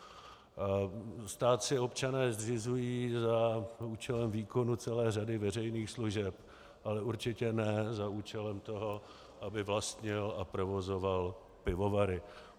Stát si občané zřizují za účelem výkonu celé řady veřejných služeb, ale určitě ne za účelem toho, aby vlastnil a provozoval pivovary.